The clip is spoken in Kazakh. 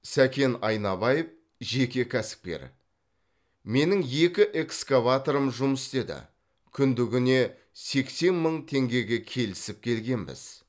сәкен айнабаев жеке кәсіпкер менің екі эксковаторым жұмыс істеді күндігіне сексен мың теңгеге келісіп келгенбіз